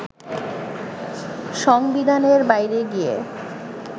সংবিধানের বাইরে গিয়ে